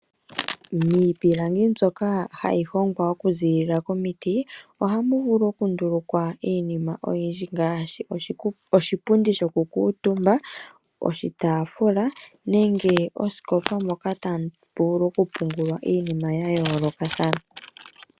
Miipilangi mbyoka hayi hongwa okuziilila momiti ohamu vulu okundulukwa iinima oyindji ngaashi oshipundi shokukuutumba oshitaafula nenge osikopa moka tamu vulu okupungulwa iinima ya yoolokathana.